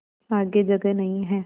आगे जगह नहीं हैं